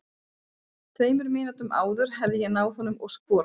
Tveimur mínútum áður hefði ég náð honum og skorað.